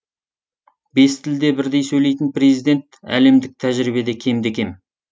бес тілде бірдей сөйлейтін президент әлемдік тәжірибеде кемде кем